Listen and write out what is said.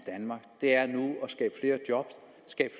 det er